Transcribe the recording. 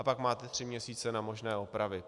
A pak máte tři měsíce na možné opravy.